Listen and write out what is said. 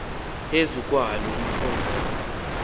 phezu kwalo umphongolo